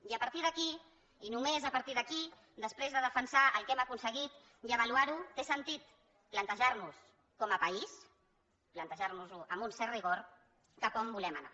i a partir d’aquí i només a partir d’aquí després de defensar el que hem aconseguit i avaluar ho té sentit plantejar nos com a país plantejar nos ho amb un cert rigor cap a on volem anar